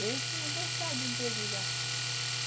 Eu tinha gostado dele já.